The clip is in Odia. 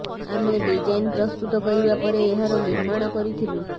ଆମେ ଡିଜାଇନ୍ ପ୍ରସ୍ତୁତ କରିବା ପରେ ଏହାର ନିର୍ମାଣ କରିଥିଲୁ